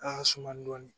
A y'a suma dɔɔnin